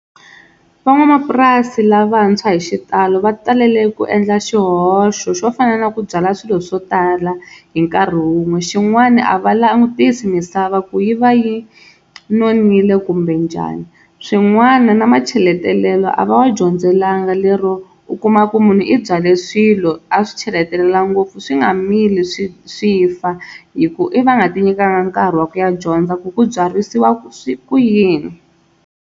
Van'wamapurasi lavantshwa hi xitalo va talele ku endla xihoxo xo fana na ku byala swilo swo tala hi nkarhi wun'we. Xin'wana a va langutisi misava ku yi va yi nonile kumbe njhani, swin'wana na macheletelelo a va wa dyondzelanga lero u kuma ku munhu i byale swilo a swi cheletela ngopfu swi nga mili swi swi fa hi ku i va nga tinyikanga nkarhi wa ku ya dyondza ku ku byarisiwa ku yini.